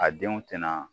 A denw tɛna